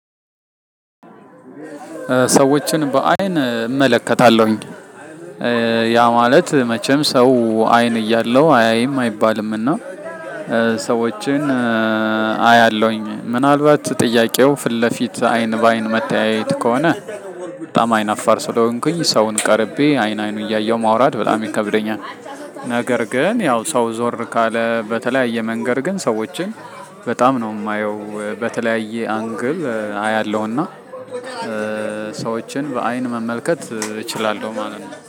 ሰዎችን በአይን እመለከታለሁኝ ያ ማለት መቼም ሰው አይን እያለው አያይም አይባልምና ሰዎችን አያለሁኝ። ምናልባት ጥያቄው ፊት ለፊት አይን በአይን መተያየት ከሆነ በጣም አይናፋር ስለሆንኩኝ ሰውን ቀርቤ አይን አይኑን እያየሁ ማውራት በጣም ይከብደኛል። ነገር ግን ያው ሰው ዞር ካለ በተለያየ መንገድ ግን ሰዎችን በጣም ነው የማየው በተለያየ አንግል አያለውና ሰዎችን በአይን መመልከት እችላለው ማለት ነው